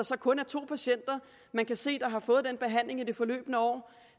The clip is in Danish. der kun er to patienter man kan se har fået den behandling i det forløbne år